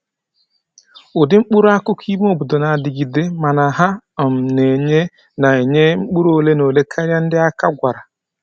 Ụdị mkpụrụ akụkụ ime obodo na-adịgide, mana ha um na-enye na-enye mkpụrụ ole na ole karịa ndị aka gwara